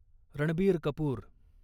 Ranbir Kapoor